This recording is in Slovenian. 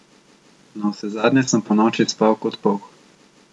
Navsezadnje sem ponoči spal kot polh.